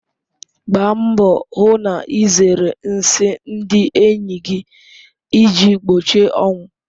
Gbaa mbọ hụ na ịzere nsị ndị enyi gị iji gbochie ọnwụ.